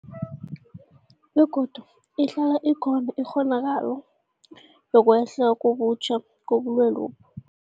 Begodu ihlala ikhona ikghonakalo yokwehla kabutjha kobulwelobu.